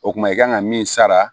O kuma i kan ka min sara